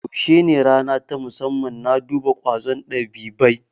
Yaushe ne rana ta musamman na duba ƙwazon dabibai?